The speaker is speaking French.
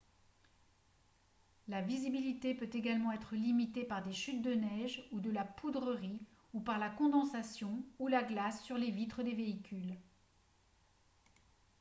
la visibilité peut également être limitée par des chutes de neige ou de la poudrerie ou par la condensation ou la glace sur les vitres des véhicules